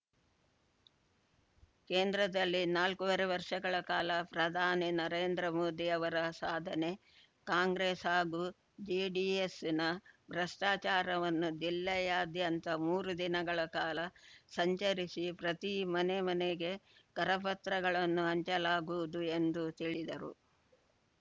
ಕೇಂದ್ರದಲ್ಲಿ ನಾಲ್ಕೂವರೆ ವರ್ಷಗಳ ಕಾಲ ಪ್ರಧಾನಿ ನರೇಂದ್ರಮೋದಿ ಅವರ ಸಾಧನೆ ಕಾಂಗ್ರೆಸ್‌ ಹಾಗೂ ಜೆಡಿಎಸ್‌ನ ಭ್ರಷ್ಟಾಚಾರವನ್ನು ಜಿಲ್ಲೆಯಾದ್ಯಂತ ಮೂರು ದಿನಗಳ ಕಾಲ ಸಂಚರಿಸಿ ಪ್ರತಿ ಮನೆ ಮನೆಗೆ ಕರಪತ್ರಗಳನ್ನು ಹಂಚಲಾಗುವುದು ಎಂದು ತಿಳಿದರು